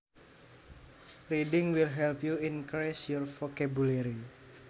Reading will help you increase your vocabulary